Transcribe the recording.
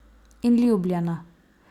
In ljubljena.